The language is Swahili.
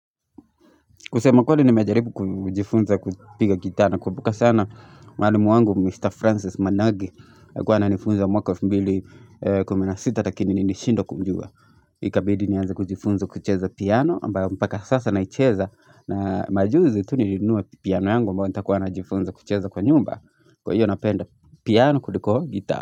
Kusema kweli nimejaribu kujifunza kupiga gita nakumbuka sana mwalimu wangu Mr. Francis Managi alikuwa ananifunza mwaka elfu mbili kumi na sita lakini nilishindwa kumjua Ikabidi nianze kujifunza kucheza piano ambayo mpaka sasa naicheza na majuzi tu nilinuwe piano yangu amba wanta kuana jifunza kucheza kwa nyumba Kwa hiyo napenda piano kuliko gita.